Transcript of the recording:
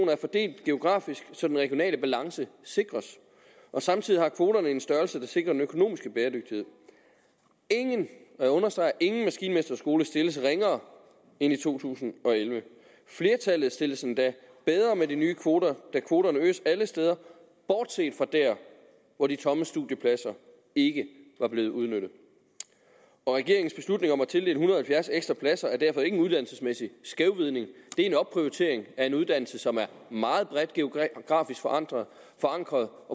er fordelt geografisk så den regionale balance sikres og samtidig har kvoterne en størrelse der sikrer den økonomiske bæredygtighed ingen og jeg understreger ingen maskinmesterskole stilles ringere end i to tusind og elleve flertallet stilles endda bedre med de nye kvoter da kvoterne øges alle steder bortset fra der hvor de tomme studiepladser ikke var blevet udnyttet regeringens beslutning om at tildele en hundrede og halvfjerds ekstra pladser er derfor ikke en uddannelsesmæssig skævvridning det er en opprioritering af en uddannelse som er meget bredt geografisk forankret forankret